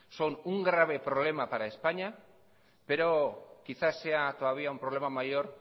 son un grave problema para españa pero quizá sea todavía un problema mayor